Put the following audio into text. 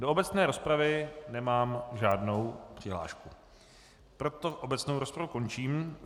Do obecné rozpravy nemám žádnou přihlášku, proto obecnou rozpravu končím.